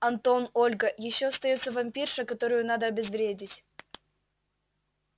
антон ольга ещё остаётся вампирша которую надо обезвредить